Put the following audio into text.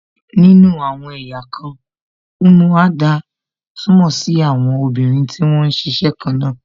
Nínú àwọn ẹ̀yà kan, umuada túmọ̀ sí àwọn obìnrin tí wón ń ṣiṣẹ́ kan náà